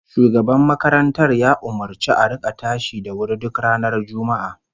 Shugaban makarantar ya umurci a rika tashi da wuri duk ranar Juma'a